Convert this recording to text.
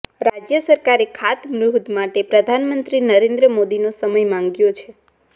રાજ્ય સરકારે ખાતમુહૂર્ત માટે પ્રધાનમંત્રી નરેન્દ્ર મોદીનો સમય માગ્યો છે